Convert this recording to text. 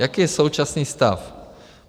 Jaký je současný stav?